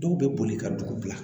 Dɔw bɛ boli ka dugu bila